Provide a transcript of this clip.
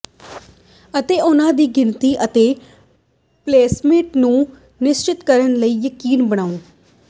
ਅਤੇ ਉਨ੍ਹਾਂ ਦੀ ਗਿਣਤੀ ਅਤੇ ਪਲੇਸਮੇਟ ਨੂੰ ਨਿਸ਼ਚਿਤ ਕਰਨ ਲਈ ਯਕੀਨੀ ਬਣਾਓ